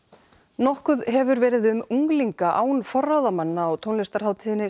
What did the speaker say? nokkuð hefur verið um unglinga án forráðamanna á tónlistarhátíðinni